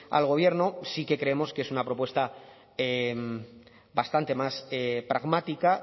al gobierno sí que creemos que es una propuesta bastante más pragmática